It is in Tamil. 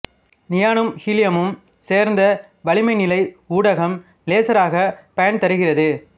நியானும் ஹீலியமும் சேர்ந்த வளிம நிலை ஊடகம் லேசராகப் பயன்தருகிறது